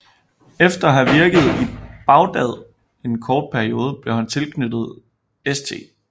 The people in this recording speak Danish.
Efter at have virket i Bagdad en kort periode blev han tilknyttet St